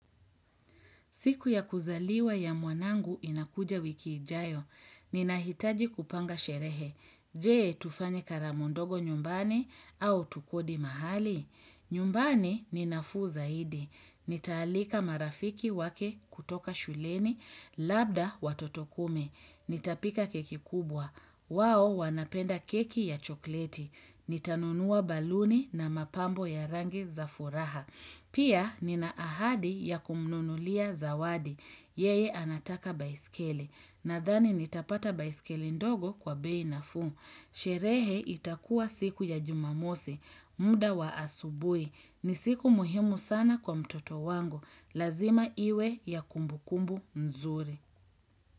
Siku ya kuzaliwa ya mwanangu inakuja wiki ijayo, ninahitaji kupanga sherehe, jee tufanye karamu ndogo nyumbani au tukodi mahali, nyumbani ninafuu zaidi, nitaalika marafiki wake kutoka shuleni, labda watoto kumi, nitapika keki kubwa, wao wanapenda keki ya chokleti, nitanunua baluni na mapambo ya rangi za furaha. Pia nina ahadi ya kumnunulia zawadi, yeye anataka baisikeli. Nadhani nitapata baisikeli ndogo kwa bei nafuu. Sherehe itakua siku ya jumamosi, muda wa asubuhi. Ni siku muhimu sana kwa mtoto wangu. Lazima iwe ya kumbukumbu nzuri.